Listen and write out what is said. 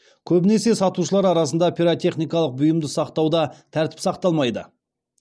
көбінесе сатушылар арасында пиротехникалық бұйымды сақтауда тәртіп сақталмайды